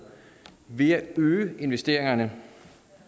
ved at øge investeringerne